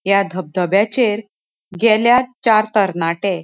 या धब धब्याचेर गेल्यात चार तरनाटे.